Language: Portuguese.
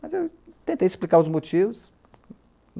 Mas eu tentei explicar os motivos.